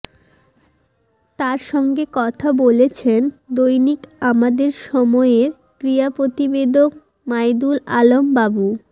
তার সঙ্গে কথা বলেছেন দৈনিক আমাদের সময়ের ক্রীড়া প্রতিবেদক মাইদুল আলম বাবু